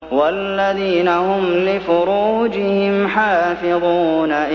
وَالَّذِينَ هُمْ لِفُرُوجِهِمْ حَافِظُونَ